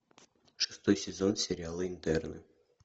шестой сезон сериала интерны